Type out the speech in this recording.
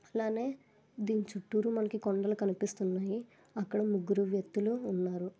ఇలానే దీని చుట్టురూ కొండలు కనిపిస్తున్నాయి. అక్కడ ముగ్గురు వ్యక్తులు ఉన్నారు.